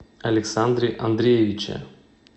александре андреевиче